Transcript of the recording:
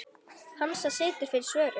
Hansa situr fyrir svörum.